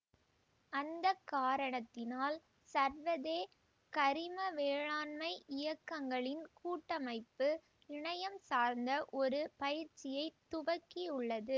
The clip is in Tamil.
அந்த காரணத்தினால் சர்வதேக் கரிம வேளாண்மைக் இயக்கங்களின் கூட்டமைப்பு இணையம் சார்ந்த ஒரு பயிற்சியைத் துவக்கியுள்ளது